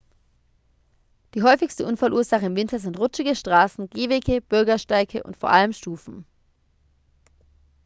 die häufigste unfallursache im winter sind rutschige straßen gehwege bürgersteige und vor allem stufen